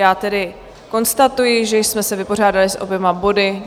Já tedy konstatuji, že jsme se vypořádali s oběma body.